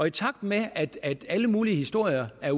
i takt med at at alle mulige historier er